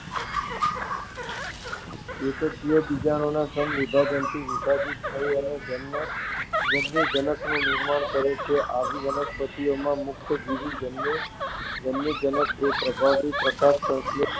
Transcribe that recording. એકકીય બીજાણુઓ સમવિભાજનથી વિભાજિત થઈ અને જન્યુજનકનું નિર્માણ કરે છે. આવી વનસ્પતિઓમાં મુક્તજીવી જન્યુજનક એ પ્રભાવી, પ્રકાશસંશ્લેષી